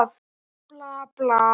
Bla, bla, bla.